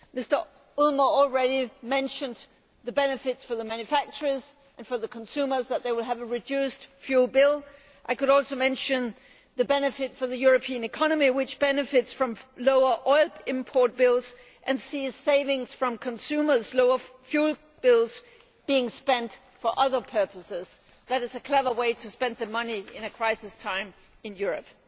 Mr Ulmer has already mentioned the benefit for the manufacturers the benefit for the consumers is that they will have a reduced fuel bill. I could also mention the benefit for the European economy, which benefits from lower oil import bills and sees savings from consumers' lower fuel bills being spent for other purposes. That is a clever way to spend the money in a time of crisis in Europe.